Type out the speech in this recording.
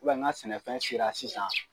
n ka sɛnɛfɛn sera sisan.